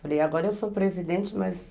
Falei, agora eu sou presidente, mas...